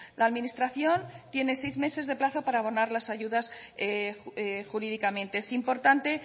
la administración tiene seis meses de plazo para abonar las ayudas jurídicamente es importante